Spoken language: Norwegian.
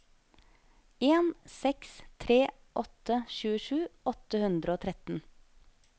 en seks tre åtte tjuesju åtte hundre og tretten